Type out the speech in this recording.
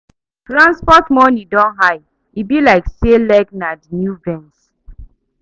Transport money don high, e be like say leg na the new Benz.